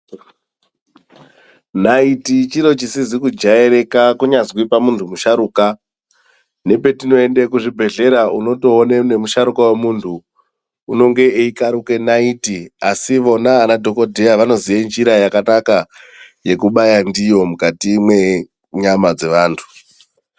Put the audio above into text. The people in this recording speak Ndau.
Nayiti chiro chisizi kujairika kunyazwi pamuntu musharuka, nepetinoende kuzvibhedhlera unotoone nemusharukwa wemuntu unonge eyikaruke nayiti, asi vona anadhokodheya vanoziye njira yakanaka yekubaya ndiyo mukati mwenyama dzevantu.